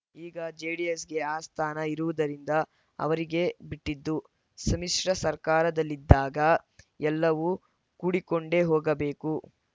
ಈಗ ಜೆಡಿಎಸ್‌ಗೆ ಆ ಸ್ಥಾನ ಇರುವುದರಿಂದ ಅವರಿಗೆ ಬಿಟ್ಟಿದ್ದು ಸಮ್ಮಿಶ್ರ ಸರ್ಕಾರದಲ್ಲಿದ್ದಾಗ ಎಲ್ಲವೂ ಕೂಡಿಕೊಂಡೇ ಹೋಗಬೇಕು